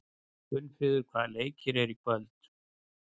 Geirfríður, hvaða leikir eru í kvöld?